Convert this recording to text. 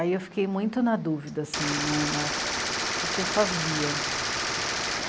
Aí eu fiquei muito na dúvida, assim, né, na... o que que eu fazia.